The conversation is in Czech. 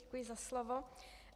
Děkuji za slovo.